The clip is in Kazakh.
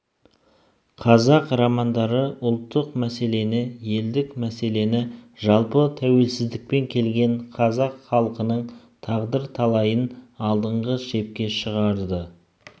қазақ романдары ұлттық мәселені елдік мәселені жалпы тәуелсіздікпен келген қазақ халқының тағдыр-талайын алдыңғы шепке шығарды